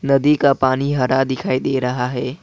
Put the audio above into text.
नदी का पानी हरा दिखाई दे रहा है।